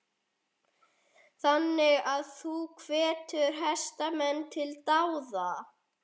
Þannig að þú hvetur hestamenn til dáða?